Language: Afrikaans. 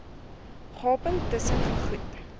gaping tusen gegoed